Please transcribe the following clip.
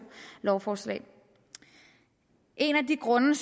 lovforslag en af de grunde